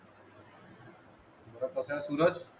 बर कसा हाय सुरज